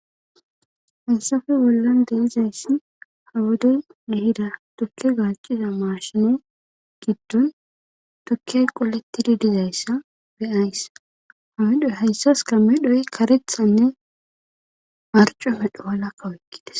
hasafe bollan deizayssi hawodey nehida tukke gaaciza maashine giddon tukkey qolettidi dizayssa beyayssa hamedhoy hayssas kamedhoy karethanne marco medho walakka woykkides